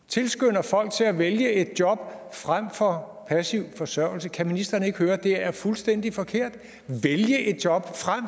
tilskynder folk til at vælge et job frem for passiv forsørgelse kan ministeren ikke høre at det er fuldstændig forkert altså at vælge et job frem